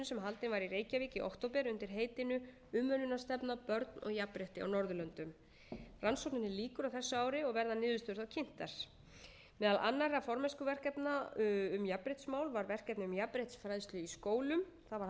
sem haldin var í reykjavík í október undir heitinu umönnunarstefna börn og jafnrétti á norðurlöndum rannsókninni lýkur á þessu ári og verða niðurstöðurnar kynntar meðal annarra formennskuverkefna um jafnréttismál var verkefni um jafnréttisfræðslu í skólum það var haldin ráðstefna í reykjavík þar sem